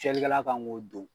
Fiyɛlikɛla kan k'o don